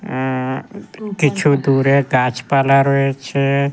আ-আ-হ কিছু দূরে গাছপালা রয়েছে-এ।